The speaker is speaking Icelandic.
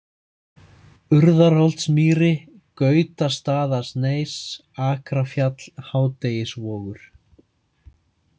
Urðarholtsmýri, Gautastaðasneis, Akrafjall, Hádegisvogur